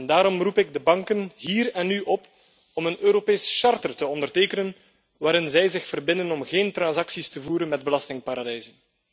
Daarom roep ik de banken hier en nu op om een Europees handvest te ondertekenen waarin ze zich ertoe verbinden om geen transacties te voeren met belastingparadijzen.